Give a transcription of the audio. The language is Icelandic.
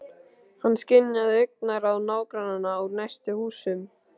Hann skynjaði augnaráð nágrannanna úr næstu húsum.